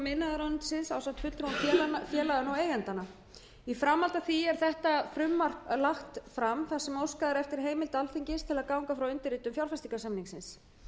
iðnaðarráðuneytisins ásamt fulltrúum félaga og eigenda í framhaldi af því er þetta frumvarp lagt fram þar sem óskað er eftir heimild alþingis til að ganga frá undirritun fjárfestingarsamningsins